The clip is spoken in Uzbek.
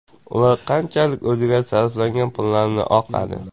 Ular qanchalik o‘ziga sarflangan pullarni oqladi.